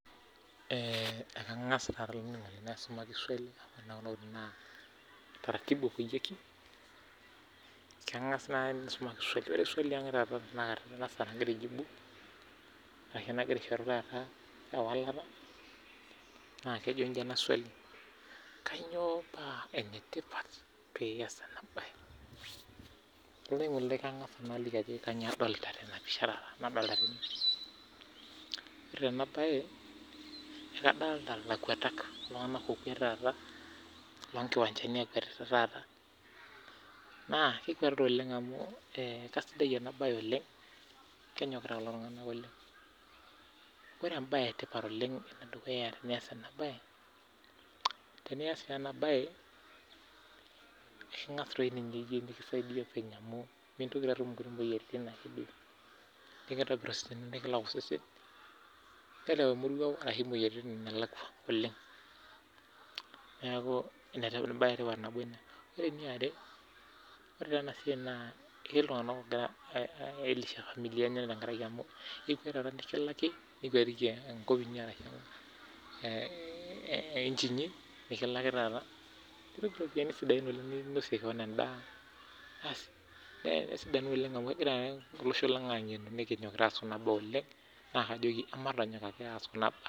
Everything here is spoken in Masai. Eeeh ekang'asa taah nanu aisumaki swali ore naah enatiu naah taratibu epoyieki, kaang'as naah aisumaki swali, ore swali ang' taata tenakata tenasaa nagira aijibu, arashu nagira aishoru taata naah ewalata, naah kejo inji ena swali, kaanyio paa enetipat pias ena bae. Kang'asa ayeu naaliki ajoki kanyio adolita tena pisha taata nadolita tene birds chirping. Ore tena bae akadolita ilakwatak iltung'anak okwet taata loonkiwanjani ekwetita taata, naah kekwetita oleng' amuu eeh kasidai ena bae oleng' kenyokita kulo tung'anak oleng' , ore embae etipat oleng enedukuya tenias ena bae, tenias teenabae eeikingas toi ninye iye nekisaidia openy amuu mintoki atum inkuliek moyaritin ake duo, keikitobir osesen nekilak osesen, nereu emoruao arashu imoyaritin enelakua oleng' , neeku enetipat embae etipat nabo ina. Ore eniare ore teenasiai naah eketii iltung'anak oogira ailisha familiani enye tenkaraki amuu ikwet taata nikilaki nikwetiki enkop inyi arashu eeh eeh inchi inyi nikilaki taata nitum iropiyani sidain oleng' ninosie kewon endaa, basi nesidanu oleng' amuu egira olosho lang' ang'enu nekinyokita aas kuna baa oleng' naah akajoki ematonyok ake aas kuna baa.